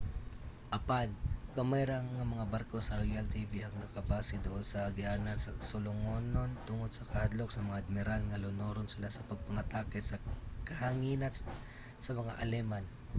apan gamay ra nga mga barko sa royal navy ang nakabase duol sa agianan sa sulungonon tungod sa kahadlok sa mga admiral nga lunuron sila sa pagpangatake sa kahanginan sa mga aleman